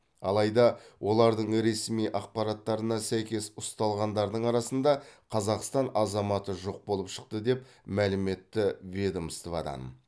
алайда олардың ресми ақпараттарына сәйкес ұсталғандардың арасында қазақстан азаматы жоқ болып шықты деп мәлім етті ведомстводан